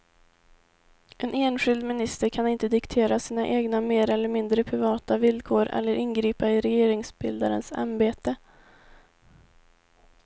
En enskild minister kan inte diktera sina egna mer eller mindre privata villkor eller ingripa i regeringsbildarens ämbete.